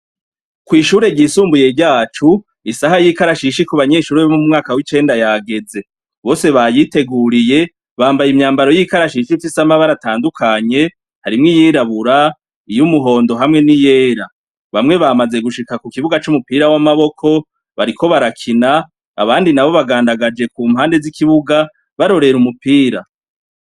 Kw'ishure ryisumbuye ryacu isaha y'ikarashishi kubanyeshure bo mu mwaka w'icenda yageze bose bayiteguriye bambaye imyambaro y'ikarashishi ifise amabara atandukanye harimwo iyirabura, iyumuhondo hamwe n'iyera, bamwe bamaze gushika kukibuga c'umupira w'amaboko bariko barakina bandi nabo bagandagaje kumpande z'ikibuga barorera umupira.